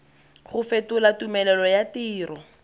go fetola tumelelo ya tiro